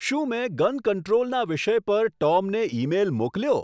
શું મેં ગન કંટ્રોલના વિષય પર ટોમને ઈમેઈલ મોકલ્યો